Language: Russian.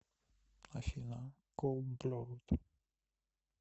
афина колд блод